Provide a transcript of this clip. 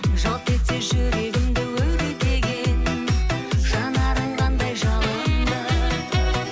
жалт етсе жүрегімді өртеген жанарың қандай жалынды